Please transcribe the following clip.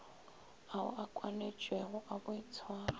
ao a kwanetšwego a boitshwaro